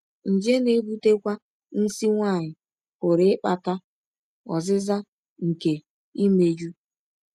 Nje na - ebụtekwa nsí nwanyị pụrụ ịkpata ọzịza nke imejụ.